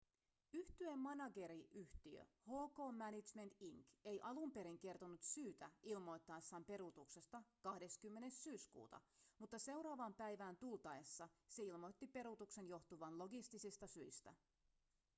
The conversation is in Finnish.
yhtyeen manageriyhtiö hk management inc ei alun perin kertonut syytä ilmoittaessaan peruutuksesta 20 syyskuuta mutta seuraavaan päivään tultaessa se ilmoitti peruutuksen johtuvan logistisista syistä